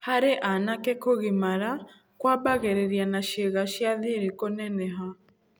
Harĩ anake kũgimara kwambagĩrĩria na ciĩga cia thiri kũneneha.